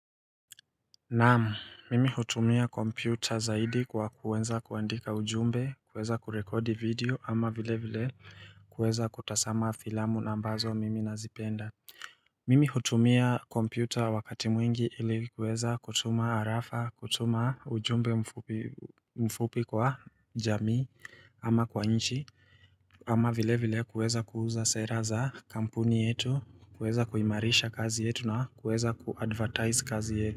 Naamu, mimi hutumia kompyuta zaidi kwa kuweza kuandika ujumbe, kuweza kurekodi video ama vile vile kuweza kutasama filamu nambazo mimi nazipenda Mimi hutumia kompyuta wakati mwingi ili kuweza kutuma arafa, kutuma ujumbe mfupi kwa jamii ama kwa nchi ama vile vile kuweza kuuza sera za kampuni yetu, kuweza kuimarisha kazi yetu na kuweza kuadvertize kazi yetu.